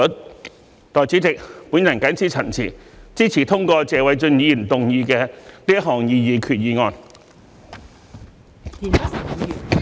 代理主席，我謹此陳辭，支持通過謝偉俊議員動議的擬議決議案。